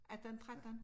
18 13